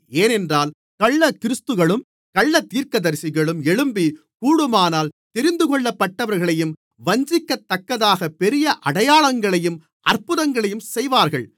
ஏனென்றால் கள்ளக்கிறிஸ்துக்களும் கள்ளத்தீர்க்கதரிசிகளும் எழும்பி கூடுமானால் தெரிந்துகொள்ளப்பட்டவர்களையும் வஞ்சிக்கத்தக்கதாகப் பெரிய அடையாளங்களையும் அற்புதங்களையும் செய்வார்கள்